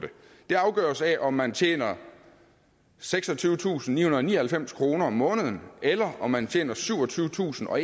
det afgøres af om man tjener seksogtyvetusinde og nioghalvfems kroner om måneden eller om man tjener syvogtyvetusinde og